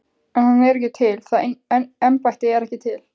En hann er ekki til, það embætti er ekki til.